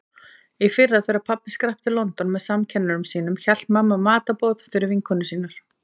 Í fyrra þegar pabbi skrapp til London með samkennurum sínum hélt mamma matarboð fyrir vinkonur sínar.